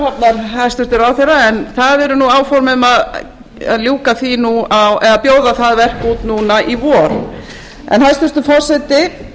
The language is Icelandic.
raufarhafnar hæstvirtur ráðherra en það eru áform um að bjóða það verk út núna í vor hæstvirtur forseti